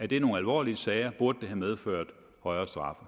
det er nogle alvorlige sager og burde have medført højere straffe